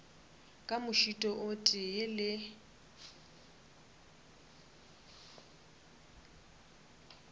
ka mošito o tee le